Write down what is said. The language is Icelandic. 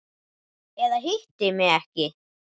Eða hitti mig ekki.